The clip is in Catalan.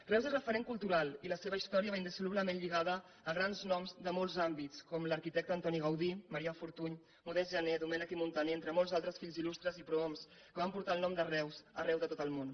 reus és referent cultural i la seva història va indissolublement lligada a grans noms de molts àmbits com l’arquitecte antoni gaudí marià fortuny modest gené domènech i montaner entre molts altres fills illustres i prohoms que van portar el nom de reus arreu de tot el món